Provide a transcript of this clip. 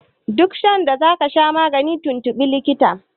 duk sanda za ka sha magani tuntubi likitan